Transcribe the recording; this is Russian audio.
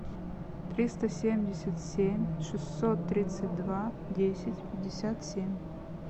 триста семьдесят семь шестьсот тридцать два десять пятьдесят семь